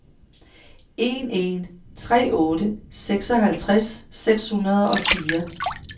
en en tre otte seksoghalvtreds seks hundrede og fire